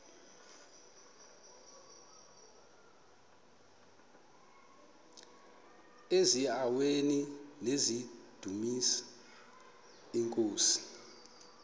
eziaweni nizidumis iinkosi